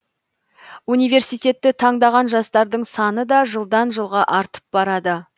университетті таңдаған жастардың саны да жылдан жылға артып барады